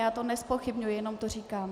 Já to nezpochybňuji, jen to říkám.